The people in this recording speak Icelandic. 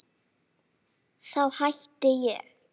Þá hætti ég.